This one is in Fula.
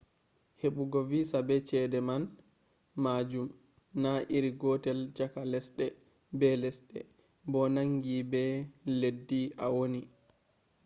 hebugo visa be chede man majum na iri gotel chaka lesde be lesde bo nangi be leddi a woni